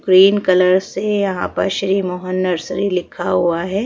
Green colour से यहाँ पर श्री मोहन नर्सरी लिखा हुआ है।